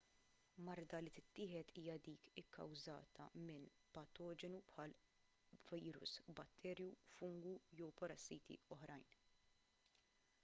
marda li tittieħed hija dik ikkawżata minn patoġenu bħal virus batterju fungu jew parassiti oħrajn